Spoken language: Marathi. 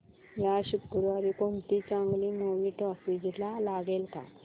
या शुक्रवारी कोणती चांगली मूवी टॉकीझ ला लागेल का